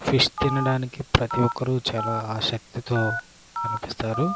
Fish తినడానికి ప్రతిఒక్కరు చాలా ఆసక్తిగ కనిపిస్తారు.